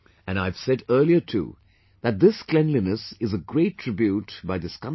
And I have said earlier too that this cleanliness is a great tribute by this country